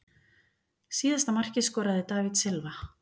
Síðasta markið skoraði David Silva.